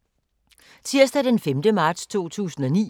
Tirsdag d. 5. marts 2019